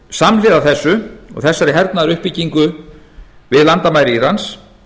samhliða þessu og þessari hernaðaruppbyggingu við landamæri írans